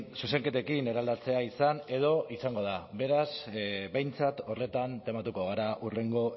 zuzenketekin eraldatzea izan edo izango da beraz behintzat horretan tematuko gara hurrengo